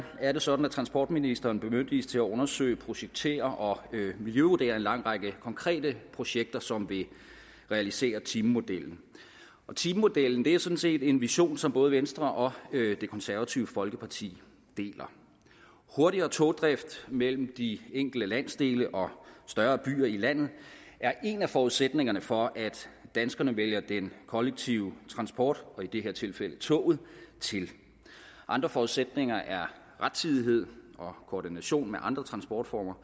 er det sådan at transportministeren bemyndiges til at undersøge projektere og miljøvurdere en lang række konkrete projekter som vil realisere timemodellen og timemodellen er sådan set en vision som både venstre og det konservative folkeparti deler hurtigere togdrift mellem de enkelte landsdele og større byer i landet er en af forudsætningerne for at danskerne vælger den kollektive transport og i det her tilfælde toget til andre forudsætninger er rettidighed og koordination med andre transportformer